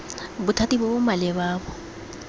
bothati bo bo maleba bo